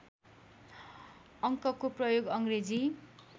अङ्कको प्रयोग अङ्ग्रेजी